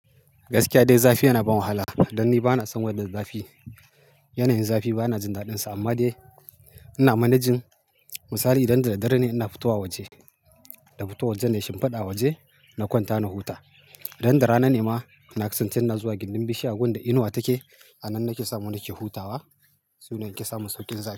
Gaskiya dai zafi yana ban wahala. Dan ni bana son weather zafi. Yanayin zafi bana jin daɗinsa amma dai ina managing. Misali idan da daddare ne ina fitowa waje, na fito waje na shimfiɗa a waje na kwanta na huta. Idan da rana ne ma ina kusantar ina zuwa gindin bishiya a wurin da inuwa take. A nan nake samu nake hutawa. Sune nake samun sauƙin zafi.